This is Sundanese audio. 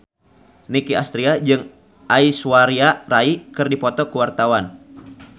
Nicky Astria jeung Aishwarya Rai keur dipoto ku wartawan